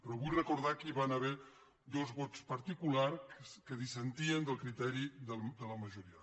però vull recordar que hi van haver dos vots particulars que dissentien del criteri de la majoria